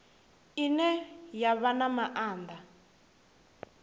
ine ya vha na maanḓa